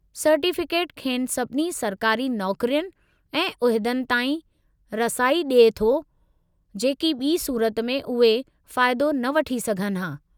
Certificate खेनि सभिनी सरकारी नौकरियुनि ऐं उहिदनि ताईं रसाई ॾिए थो, जेकी ॿी सूरत में उहे फ़ाइदो न वठी सघनि हा।